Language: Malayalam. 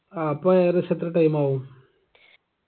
ആ അപ്പൊ ഏകദേശം എത്ര time ആവും